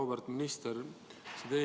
Auväärt minister!